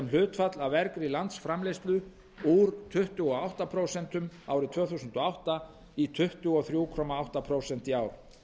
hlutfall af vergri landsframleiðslu úr tuttugu og átta komma núll prósent árið tvö þúsund og átta í tuttugu og þrjú komma átta prósent í ár